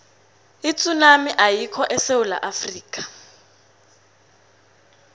itsunami ayikho esewula afrika